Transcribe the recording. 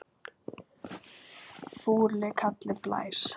Fúli kallinn blæs.